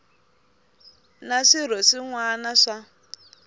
na swirho swin wana swa